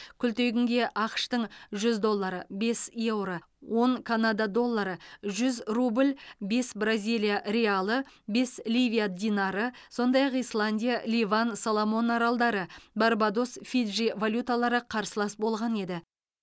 күлтегінге ақш тың жүз доллары бес еуро он канада доллары жүз рубль бес бразилия реалы бес ливия динары сондай ақ исландия ливан соломон аралдары барбадос фиджи валюталары қарсылас болған еді